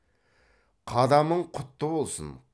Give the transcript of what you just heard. қадамың құтты болсын